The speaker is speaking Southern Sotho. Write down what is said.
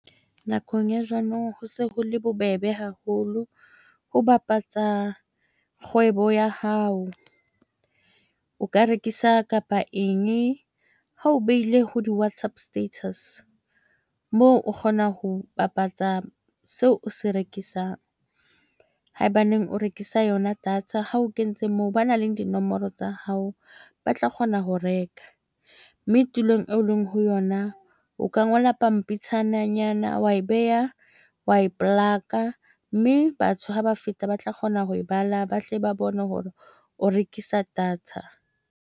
Nakong ya ho se ho le bobebe haholo ho bapatsa kgwebo ya hao, o ka rekisa kapa eng ha o behile ho di-WhatsApp status moo o kgona ho bapatsa seo o se rekisang haebaneng o rekisa yona data. Ha o kentse moo, ba nang le dinomoro tsa hao, ba tla kgona ho reka mme tulong eo leng ho yona. O ka ngola pampitshana nyana wa e beha, wa ko plaka mme batho ha ba feta ba tla kgona ho e bala. Ba tle ba bone hore o rekisa data.